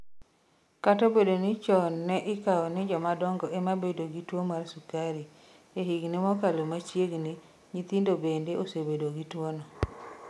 Kata obedo ni chon ne ikawo ni joma dongo ema bedo gi tuwo mar sukari, e higini mokalo machiegni, nyithindo bende osebedo gi tuwono.